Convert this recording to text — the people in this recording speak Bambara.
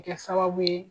Kɛ sababu ye